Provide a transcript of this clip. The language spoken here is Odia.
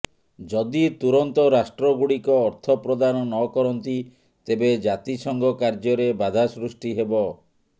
ଯଦି ତୁରନ୍ତ ରାଷ୍ଟ୍ରଗୁଡ଼ିକ ଅର୍ଥ ପ୍ରଦାନ ନ କରନ୍ତି ତେବେ ଜାତିସଂଘ କାର୍ଯ୍ୟରେ ବାଧା ସୃଷ୍ଟି ହେବ